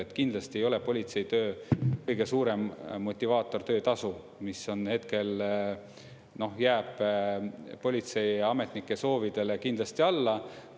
Et kindlasti ei ole politseitöö kõige suurem motivaator töötasu, mis hetkel jääb politseiametnike soovidele kindlasti alla.